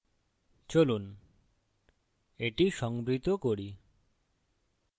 চলুন এটি সংভৃত করি